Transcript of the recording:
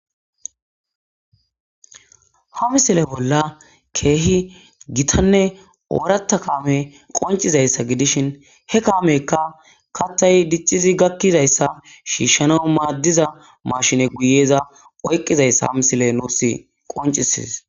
Ha misile bolla kehi gitane oorata kame qoncizaysa gidishin he kameka kaththi dicizi gakizaysa shishanaw madiza mashine giyeza oyqizaysa ha misile nes qoncises